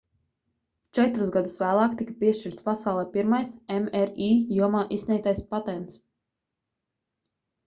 četrus gadus vēlāk tika piešķirts pasaulē pirmais mri jomā izsniegtais patents